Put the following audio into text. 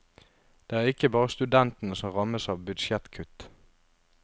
Det er ikke bare studentene som rammes av budsjettkutt.